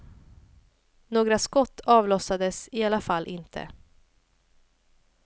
Något skott avlossades i alla fall inte.